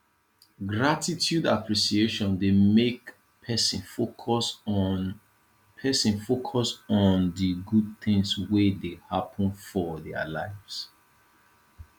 gratitude appreciation dey make person focus on person focus on di good things wey dey happen for their lives